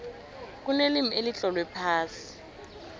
kunelimi elitlolwe phasi